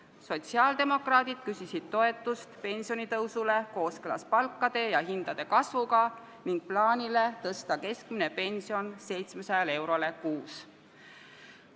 Sotsiaaldemokraadid küsisid toetust pensionitõusule kooskõlas palkade ja hindade kasvuga ning plaanile tõsta keskmine pension 700 eurole kuus.